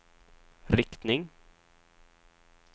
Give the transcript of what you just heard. riktning